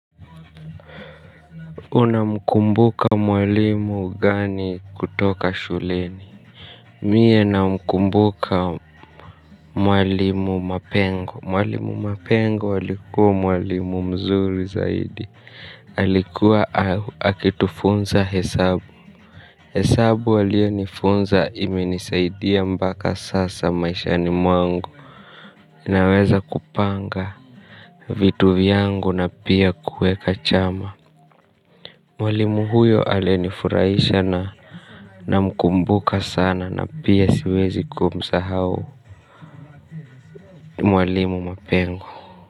Unamkumbuka mwalimu gani kutoka shuleni? Mie namkumbuka mwalimu mapengo. Mwalimu mapengo alikuwa mwalimu mzuri zaidi. Alikuwa akitufunza hesabu. Hesabu aliyonifunza, imenisaidia mpaka sasa maishani mwangu. Inaweza kupanga vitu vyangu na pia kuweka chama. Mwalimu huyo alinifurahisha na namkumbuka sana na pia siwezi kumsahau mwalimu mapengo.